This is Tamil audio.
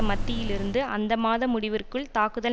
மத்தியிலிருந்து அந்தமாத முடிவிற்குள் தாக்குதல்